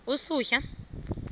usuhla